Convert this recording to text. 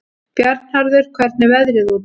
Bjarnharður, hvernig er veðrið úti?